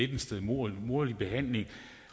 lidt stedmoderlig behandling